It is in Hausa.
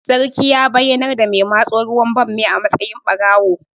Sarkin ya bayyanar da mai matso ruwan bammin a matsayin ɓarawo